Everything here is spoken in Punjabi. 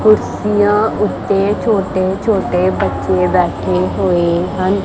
ਕੁਰਸੀਆਂ ਉੱਤੇ ਛੋਟੇ ਛੋਟੇ ਬੱਚੇ ਬੈਠੇ ਹੋਏ ਹਨ।